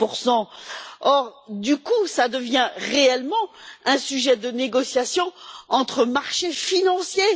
30 Or, du coup, cela devient réellement un sujet de négociation entre marchés financiers.